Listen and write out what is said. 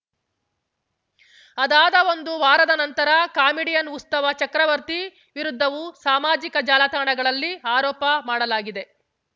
ಅದಾದ ಒಂದು ವಾರದ ನಂತರ ಕಾಮಿಡಿಯನ್‌ ಉಸ್ತವ ಚಕ್ರಬರ್ತಿ ವಿರುದ್ಧವೂ ಸಾಮಾಜಿಕ ಜಾಲತಾಣಗಳಲ್ಲಿ ಆರೋಪ ಮಾಡಲಾಗಿದೆ